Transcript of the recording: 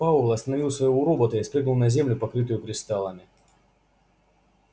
пауэлл остановил своего робота и спрыгнул на землю покрытую кристаллами